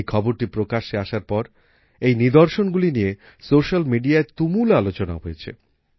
এই খবরটি প্রকাশ্যে আসার পর এই নিদর্শনগুলি নিয়ে সোশ্যাল মিডিয়ায় তুমুল আলোচনা হয়েছে